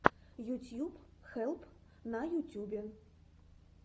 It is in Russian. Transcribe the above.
ютьюб хелп на ютюбе